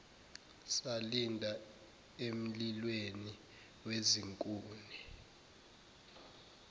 salinda emlilweni wezinkuni